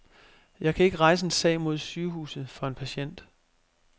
Jeg kan ikke rejse en sag mod sygehuset for en patient.